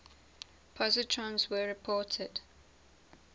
positrons were reported